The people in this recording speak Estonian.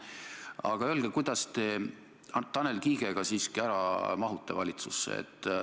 Aga öelge, kuidas te Tanel Kiigega siiski ära mahute valitsusse.